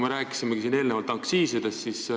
Me rääkisime eelnevalt aktsiisidest.